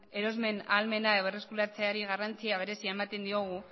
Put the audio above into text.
erosmen ahalmena berreskuratzeari garrantzi berezia ematen diogu